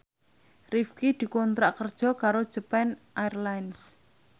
Rifqi dikontrak kerja karo Japan Airlines